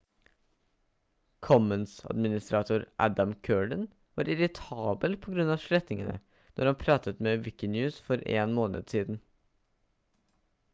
commons-administrator adam cuerden var irritabel på grunn av slettingene når han pratet med wikinews for en måned siden